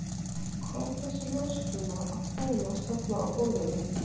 Hvað er þessi ljósakróna að þvælast þarna á borðinu.